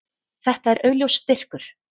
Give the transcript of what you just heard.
Þetta er augljós styrkur.